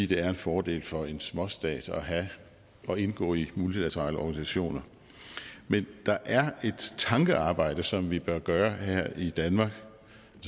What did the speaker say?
det er en fordel for en småstat at indgå i multilaterale organisationer men der er et tankearbejde som vi bør gøre her i danmark